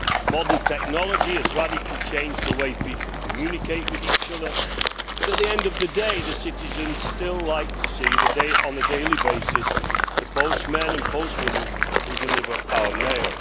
Modern technology has radically changed the way people communicate with each other, but at the end of the day citizens still like to see, on a daily basis, the postmen and postwomen who deliver our mail.